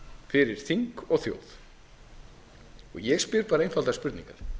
fyrir þing og þjóð og ég spyr bara einfaldra spurninga